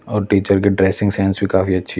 और टीचर की dressing sense भी काफी अच्छी--